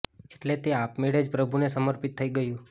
એટલે તે આપમેળે જ પ્રભુ ને સમર્પિત થઇ ગયું